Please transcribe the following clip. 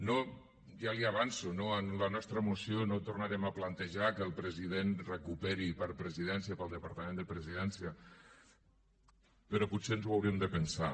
no ja li ho avanço no en la nostra moció no tornarem a plantejar que el president ho recuperi per a presidència per al departament de presidència però potser ens ho hauríem de pensar